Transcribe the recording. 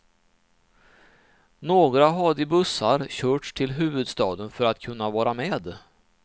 Några hade i bussar körts till huvudstaden för att kunna vara med.